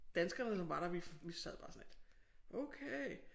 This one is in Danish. Danskerne som var der vi vi sad bare sådan lidt okay